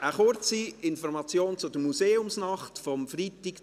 Eine kurze Information zur Museumsnacht von Freitag,